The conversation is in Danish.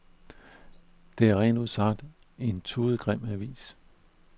Det er rent ud sagt en tudegrim avis.